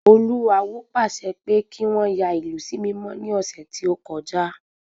Olú awo pàṣẹ pé kí wọ́n yà ìlú sí mímọ́ ní ọ̀sẹ̀ tí ọ́kọjá